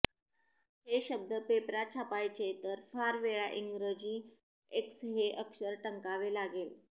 ते शब्द पेपरात छापायचे तर फार वेळा इंग्रजी एक्स हे अक्षर टंकावे लागेल